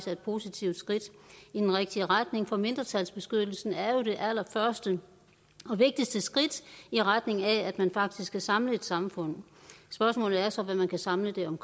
er et positivt skridt i den rigtige retning for mindretalsbeskyttelsen er jo det allerførste og vigtigste skridt i retning af at man faktisk kan samle et samfund spørgsmålet er så hvad man kan samle det om